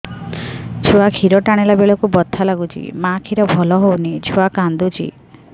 ଛୁଆ ଖିର ଟାଣିଲା ବେଳକୁ ବଥା ଲାଗୁଚି ମା ଖିର ଭଲ ହଉନି ଛୁଆ କାନ୍ଦୁଚି